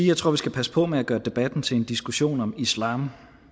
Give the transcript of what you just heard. jeg tror vi skal passe på med at gøre debatten til en diskussion om islam